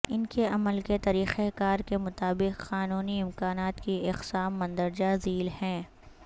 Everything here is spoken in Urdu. ان کے عمل کے طریقہ کار کے مطابق قانونی امکانات کی اقسام مندرجہ ذیل ہیں